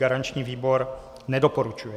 Garanční výbor nedoporučuje.